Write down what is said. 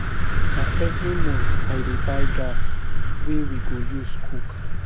Na every month I dey buy gas wey we go use cook.